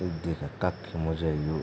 यु देखा कख म जैल यु ।